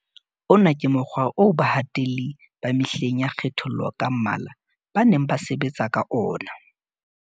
Ona ke mokgwa oo bahatelli ba mehleng ya kgethollo ka mmala ba neng ba sebetsa ka ona.